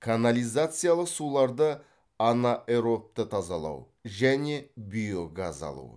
канализациялық суларды анаэробты тазалау және биогаз алу